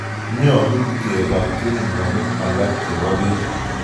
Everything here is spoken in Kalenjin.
Nyalu kepol keringonik alak che po peek